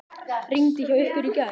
Rigndi hjá ykkur í gær?